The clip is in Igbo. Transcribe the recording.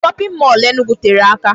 Shopping mall Enugu tere aka.